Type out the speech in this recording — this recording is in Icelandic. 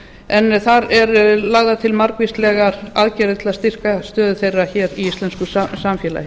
en þar eru lagðar til margvíslegar aðgerðir til að styrkja stöðu þeirra hér í íslensk samfélagi